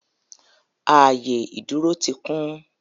Ààyè ìdúrósí ti kún